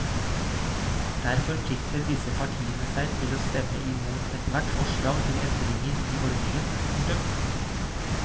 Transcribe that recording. Der forplikter disse partiene seg til å stemme imot ethvert forslag til endringer i ordningen. punktum